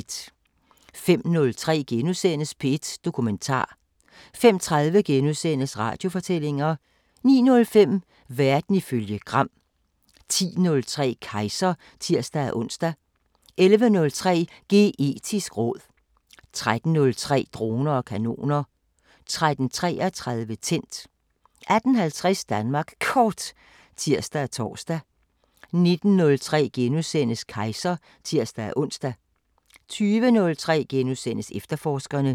05:03: P1 Dokumentar * 05:30: Radiofortællinger * 09:05: Verden ifølge Gram 10:03: Kejser (tir-ons) 11:03: Geetisk råd 13:03: Droner og kanoner 13:33: Tændt 18:50: Danmark Kort (tir og tor) 19:03: Kejser *(tir-ons) 20:03: Efterforskerne *